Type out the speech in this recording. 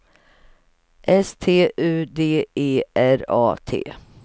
S T U D E R A T